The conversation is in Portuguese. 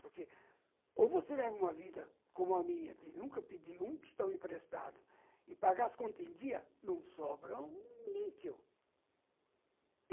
Porque ou você leva uma vida como a minha, de nunca pedir um tostão emprestado e pagar as contas em dia, não sobra um níquel.